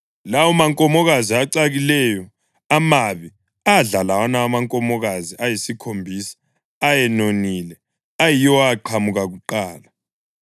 Lawo mankomokazi acakileyo, amabi adla lawana amankomokazi ayisikhombisa ayenonile ayiwo aqhamuka kuqala.